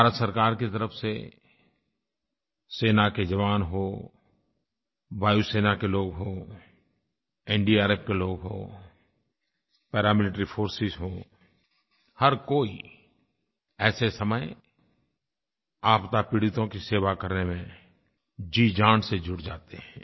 भारत सरकार की तरफ़ से सेना के जवान हों वायु सेना के लोग हों एनडीआरएफ के लोग हों पैरामिलिटरी फोर्सेस हों हर कोई ऐसे समय आपदा पीड़ितों की सेवा करने में जीजान से जुड़ जाते हैं